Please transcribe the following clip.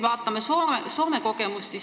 Vaatame Soome kogemust.